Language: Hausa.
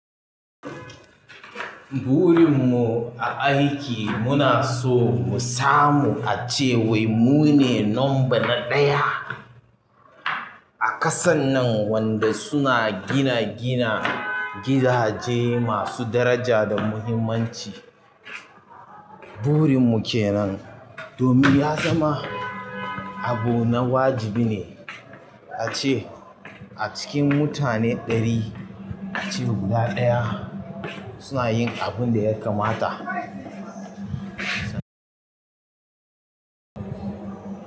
Burin mu a aiki muna so mu samu ace wai mu ne number na ɗaya a kasan nan wanda suna gina gina gidaje masu daraja da muhimmanci. Burin mu ke nan domin ya zama abu na wajibi ne ace a cikin mutane ɗari, ace guda ɗaya suna yin abin da ya kamata.